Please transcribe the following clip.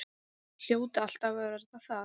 Hljóta alltaf að verða það.